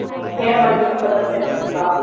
Hair मध्ये तुम्ही colour theory शिकता.